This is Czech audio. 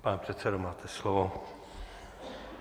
Pane předsedo, máte slovo.